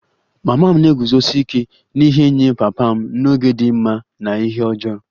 Mama m na-eguzosi ike n'ihe nye papa m n'oge dị mma na ihe ọjọọ